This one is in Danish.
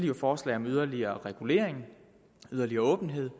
jo forslag om yderligere regulering yderligere åbenhed